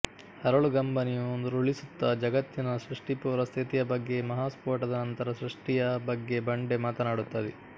ಹರಳುಗಂಬನಿಯುರುಳಿಸುತ್ತ ಜಗತ್ತಿನ ಸೃಷ್ಟಿಪೂರ್ವ ಸ್ಥಿತಿಯ ಬಗ್ಗೆ ಮಹಾಸ್ಫೋಟದ ನಂತರದ ಸೃಷ್ಟಿಯ ಬಗ್ಗೆ ಬಂಡೆ ಮಾತನಾಡುತ್ತದೆ